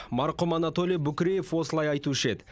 марқұм анатолий букреев осылай айтушы еді